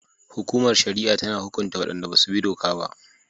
Hukumar shari'a tana hukunta wadanda ba su bi doka ba